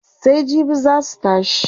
Sai jibi zaa su tashi.